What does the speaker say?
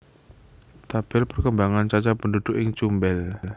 Tabel perkembangan cacah pendhudhuk ing Cumbel